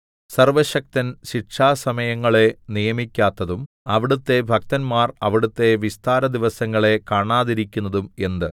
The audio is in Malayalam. സർവ്വശക്തൻ ശിക്ഷാസമയങ്ങളെ നിയമിക്കാത്തതും അവിടുത്തെ ഭക്തന്മാർ അവിടുത്തെ വിസ്താര ദിവസങ്ങളെ കാണാതിരിക്കുന്നതും എന്ത്